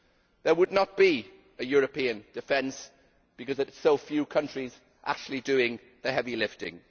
There would not be a European defence because so few countries are actually doing the heavy lifting.